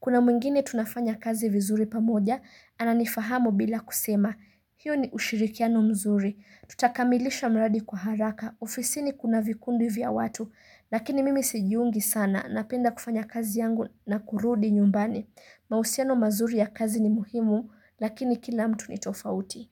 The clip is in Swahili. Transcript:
Kuna mwingine tunafanya kazi vizuri pamoja, anani fahamu bila kusema, hiyo ni ushirikiano mzuri, tutakamilisha mradi kwa haraka, ofisini kuna vikundi vya watu, lakini mimi sijiungi sana, napenda kufanya kazi yangu na kurudi nyumbani. Mahusiano mazuri ya kazi ni muhimu, lakini kila mtu ni tofauti.